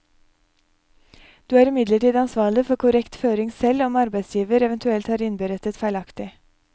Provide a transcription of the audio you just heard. Du er imidlertid ansvarlig for korrekt føring selv om arbeidsgiver eventuelt har innberettet feilaktig.